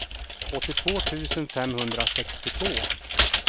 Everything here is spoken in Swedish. åttiotvå tusen femhundrasextiotvå